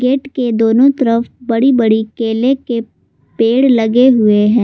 Gate के दोनों तरफ बड़ी बड़ी केले के पेड़ लगे हुए है।